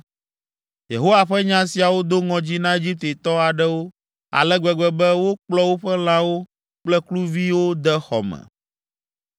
Yehowa ƒe nya siawo do ŋɔdzi na Egiptetɔ aɖewo ale gbegbe be wokplɔ woƒe lãwo kple kluviwo de xɔ me.